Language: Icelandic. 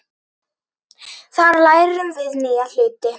Þar lærum við nýja hluti.